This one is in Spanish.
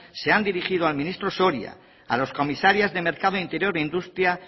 se han dirigido al ministro soria a los comisarios de mercado interior e industria